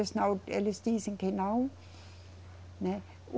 Eles não, eles dizem que não, né.